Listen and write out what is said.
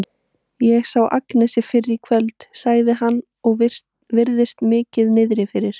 Ég sá Agnesi fyrr í kvöld, segir hann og virðist mikið niðri fyrir.